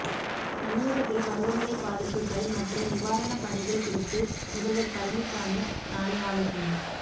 தமிழகத்தில் பருவமழை பாதிப்புகள் மற்றும் நிவாரணப் பணிகள் குறித்து முதல்வர் பழனிசாமி நாளை ஆலோசனை